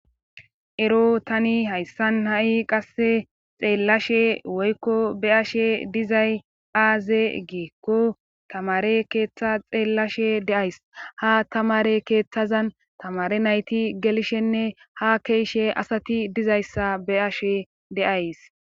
Ero tani hayssan ha'i qasse xeellashe woykko be ashe dizay aaze geekko tamare keeththa xeellashe deays ha tamare keeththazan tamare nayti gelshenne ha keeshe asati dizayssa be ashe deays